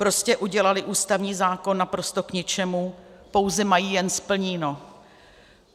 Prostě udělali ústavní zákon naprosto k ničemu, pouze mají jen splněno.